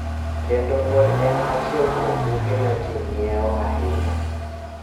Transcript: kendo pod en achiel kuom buge ma ji ng�iewo ahinya.